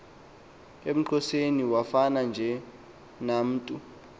uxhoseniwafa enge namntu